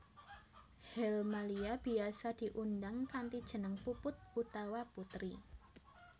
Helmalia biyasa diundang kanthi jeneng Puput utawa Putri